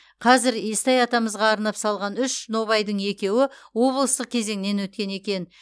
қазір естай атамызға арнап салған үш нобайдың екеуі облыстық кезеңнен өткен екен